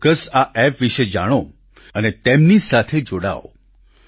આપ ચોક્કસ આ એપ વિશે જાણો અને તેમની સાથે જોડાઓ